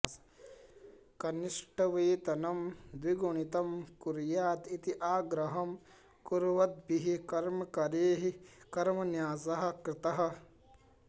कनिष्ठवेतनं द्विगुणितं कुर्यात् इति आग्रहं कुर्वद्भिः कर्मकरैः कर्मन्यासः कृतः